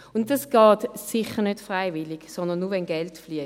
Das geht sicher nicht freiwillig, sondern nur, wenn Geld fliesst.